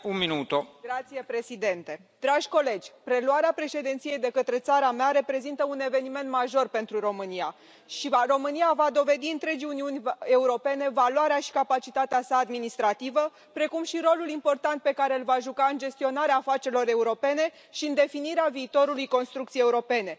Domnule președinte, dragi colegi, preluarea Președinției de către țara mea reprezintă un eveniment major pentru România și România va dovedi întregii Uniuni Europene valoarea și capacitatea să administrativă, precum și rolul important pe care îl va juca în gestionarea afacerilor europene și în definirea viitorului construcției europene.